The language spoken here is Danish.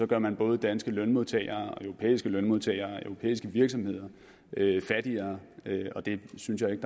gør man både danske lønmodtagere og europæiske lønmodtagere og europæiske virksomheder fattigere og det synes jeg ikke